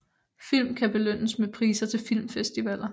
Film kan belønnes med priser til filmfestivaler